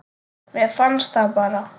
Mér fannst það bara.